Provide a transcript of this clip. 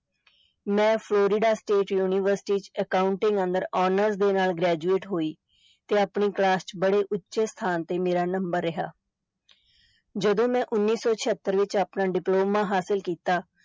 ਮੈਂ Florida state university ਚ accounting ਅੰਦਰ honors ਦੇ ਨਾਲ graduate ਹੋਈ ਤੇ ਆਪਣੀ class ਚ ਬੜੇ ਉੱਥੇ ਸਥਾਨ ਤੇ ਮੇਰਾ number ਰਿਹਾ ਜਦੋਂ ਮੈਂ ਉੱਨੀ ਸੋ ਛਿਅੱਤਰ ਵਿਚ ਆਪਣਾ diploma ਹਾਸਲ ਕੀਤਾ,